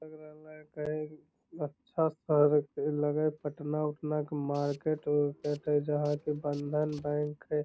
एकरा में कही अच्छा शहर के लग हई पटना उटना के मार्केट उरकेट हई जहाँ के बँधन बैंक हई |